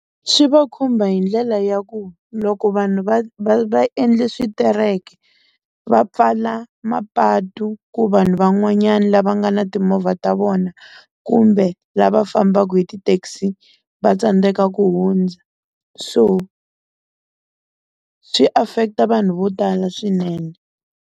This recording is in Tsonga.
Swi va khumba hi ndlela ya ku loko vanhu va va va endle switereko va pfala mapatu ku vanhu van'wanyana lava nga na timovha ta vona kumbe lava fambaka hi ti-taxi va tsandzeka ku hundza so swi affect-a vanhu vo tala swinene.